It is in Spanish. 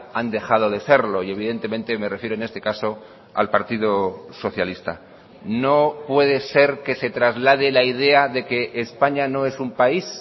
han dejado de serlo y evidentemente me refiero en este caso al partido socialista no puede ser que se traslade la idea de que españa no es un país